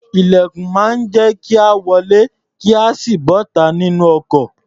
Ilẹ̀kùn máa ń jẹ́ ka wọlé kí a sì bọ́ta nínú ọkọ̀.